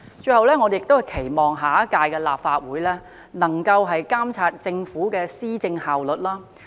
最後，我期望下屆立法會能夠監察政府的施政效率。